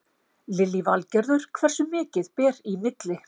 Lillý Valgerður: Hversu mikið ber í milli?